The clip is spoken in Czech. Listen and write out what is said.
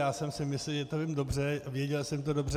Já jsem si myslel, že to není dobře, věděl jsem to dobře.